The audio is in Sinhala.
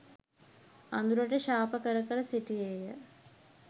අඳුරට ශාප කර කර සිටියේය.